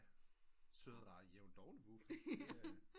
Sød rar jævnt doven vuffe